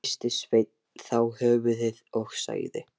Hristi Sveinn þá höfuðið og sagði